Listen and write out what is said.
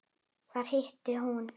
Þar hitti hún